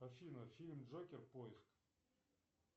афина фильм джокер поиск